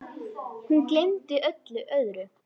Hún gleymdi öllu öðru.